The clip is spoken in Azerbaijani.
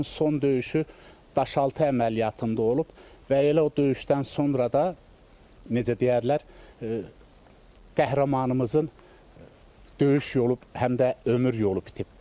Onun son döyüşü Daşaltı əməliyyatında olub və elə o döyüşdən sonra da necə deyərlər, qəhrəmanımızın döyüş yolu həm də ömür yolu bitib.